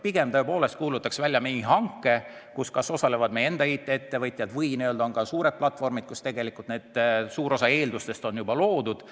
Pigem ta kuulutaks välja mingi hanke, kus osalevad meie enda IT-ettevõtjad või ka suured platvormid, mille puhul tegelikult suur osa eeldustest on juba loodud.